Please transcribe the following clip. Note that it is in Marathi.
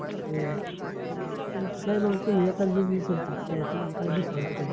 हम्म अन काय म्हणू तुम्ही एकाच business वर छापताय, तुम्हाला काय? दुसर टाकाय